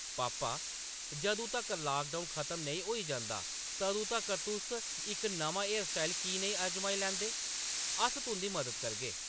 “पापा, जदूं तक्कर लाकडाउन खतम नेईं होई जंदा, तदूं तक्कर तुस इक नमां हेयरस्टाइल की नेईं आजमाई लैंदे ? अस तुंʼदी मदद करगे ।